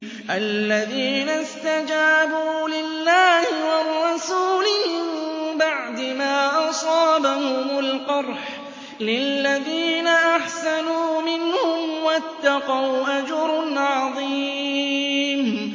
الَّذِينَ اسْتَجَابُوا لِلَّهِ وَالرَّسُولِ مِن بَعْدِ مَا أَصَابَهُمُ الْقَرْحُ ۚ لِلَّذِينَ أَحْسَنُوا مِنْهُمْ وَاتَّقَوْا أَجْرٌ عَظِيمٌ